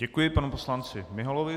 Děkuji panu poslanci Miholovi.